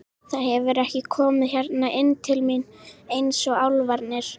Það hefur ekki komið hérna inn til mín eins og álfarnir.